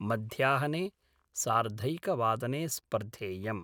मध्याहने सार्धैकवादने स्पर्धेयं